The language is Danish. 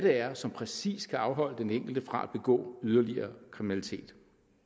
er som præcis kan afholde den enkelte fra at begå yderligere kriminalitet